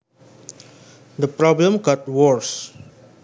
The problem got worse